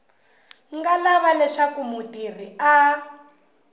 nga lava leswaku mutirhi a